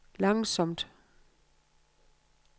langsomt